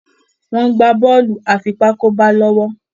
wón gbà Bọ́ọ̀lù afipátákó gbá lówó.